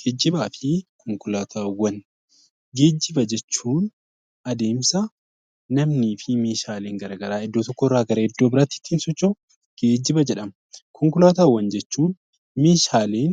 Geejiba fi konkolaataawwan Geejiba jechuun adeemsa namni fi Meeshaalee garaagaraa iddoo tokkoo gara iddoo biraatti ittiin socho'u, geejiba jedhama. Konkolaataawwan jechuun Meeshaalee